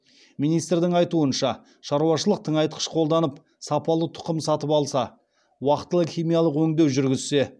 министрдің айтуынша шаруашылық тыңайтқыш қолданып сапалы тұқым сатып алса уақтылы химиялық өңдеу жүргізсе